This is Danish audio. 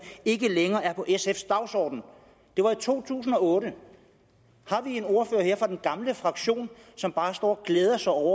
ikke længere er på sf’s dagsorden det var i to tusind og otte har vi en ordfører her fra den gamle fraktion som bare står og glæder sig over